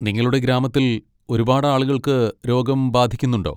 നിങ്ങളുടെ ഗ്രാമത്തിൽ ഒരുപാട് ആളുകൾക്ക് രോഗം ബാധിക്കുന്നുണ്ടോ?